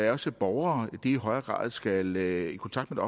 at også borgere i højere grad skal i kontakt med